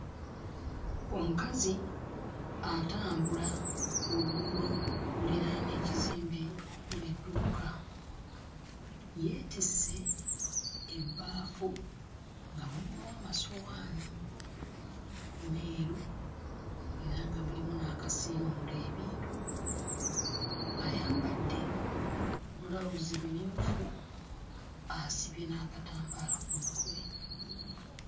Omukazi atambula ku luguudo okuliraana ekizimbe okuli edduuka. Yeetisse ebbaafu nga mulimu amasowaani meeru era nga mulimu n'akasiimuula ebintu, ayambadde bbulawuzi mmyufu asibye n'akatambaala ku mutwe.